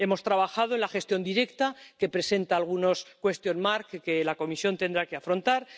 Hemos trabajado en la gestión directa, que presenta algunos interrogantes que la Comisión tendrá que afrontar.